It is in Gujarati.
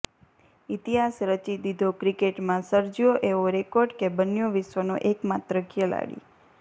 ઇતિહાસ રચી દીધોઃ ક્રિકેટમાં સર્જ્યો એવો રેકોર્ડ કે બન્યો વિશ્વનો એકમાત્ર ખેલાડી